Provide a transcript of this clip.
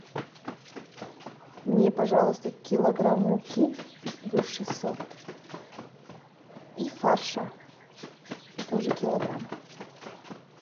мне пожалуйста килограмм муки высший сорт и фарша тоже килограмм